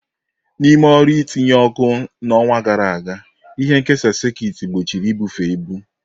N'ime ọrụ itinye oku n'ọnwa gara aga, ihe nkesa sekit gbochiri ibufe ibu.